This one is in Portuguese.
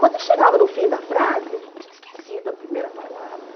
Quando ele chegava no fim da frase, ele tinha esquecido a primeira palavra.